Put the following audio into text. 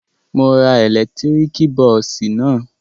Mo ra ẹ̀lẹ́tíríkì bọ́ọ́sì náà.